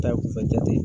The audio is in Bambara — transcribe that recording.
Ta jate